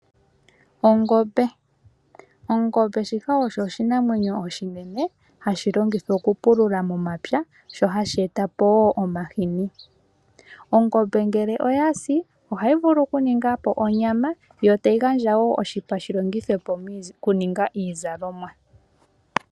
Ongombe shika osho oshinamwenyo oshinene hashi longithwa okupulula momapya sho hashi eta po woo omahini. Ongombe ngele oya si ohayi vulu okuninga po onyama yo tayi gandja wo oshipa shi longithwe po okuninga iizalomwa.